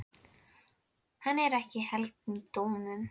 Hann er ekki í helgum dómum.